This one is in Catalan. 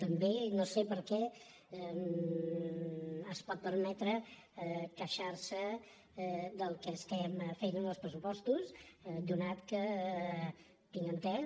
també no sé per què es pot permetre queixar·se del que estem fent en els pressupostos atès que tinc estès